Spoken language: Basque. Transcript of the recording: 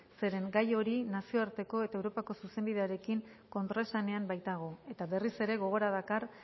zeren gai hori nazioarteko eta europako zuzenbidearekin kontraesanean baitago eta berriz ere gogora dakar